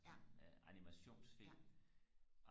sådan animationsfilm